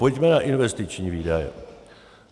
Pojďme na investiční výdaje.